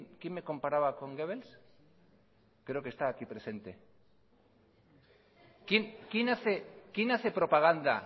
quién me comparaba con goebbles creo que está aquí presenta